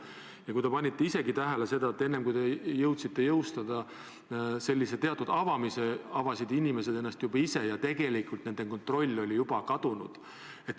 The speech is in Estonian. Ja vahest te panite ise ka tähele, et enne kui te jõudsite jõustada sellise teatud avamise, avasid inimesed ennast juba ise ja tegelikult nende kontroll oli juba kadunud.